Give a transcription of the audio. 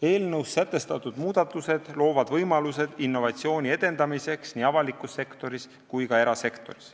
Eelnõus sätestatud muudatused loovad võimalused innovatsiooni edendamiseks nii avalikus sektoris kui ka erasektoris.